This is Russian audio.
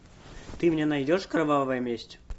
ты мне найдешь кровавая месть